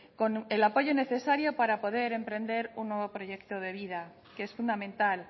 con el apoyo necesario para poder emprender un nuevo proyecto de vida que es fundamental